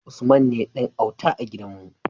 Usman ne Dan auta a gidan mu